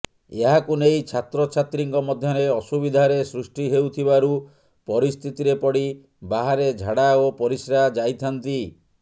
ଏହାକୁ ନେଇ ଛାତ୍ରଛାତ୍ରୀଙ୍କ ମଧ୍ୟରେ ଅସୁବିଧାରେ ସୃଷ୍ଟି ହେଉଥିବାରୁ ପରିସ୍ଥିତିରେ ପଡ଼ି ବାହାରେ ଝାଡ଼ା ଓ ପରିସ୍ରା ଯାଇଥାନ୍ତି